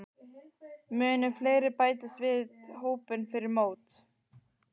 Munu fleiri bætast við hópinn fyrir mót?